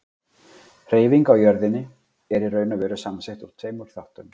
Hreyfing á jörðinni er í raun og veru samsett úr tveimur þáttum.